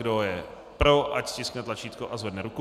Kdo je pro, ať stiskne tlačítko a zvedne ruku.